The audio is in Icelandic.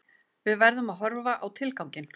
Við verðum að horfa á tilganginn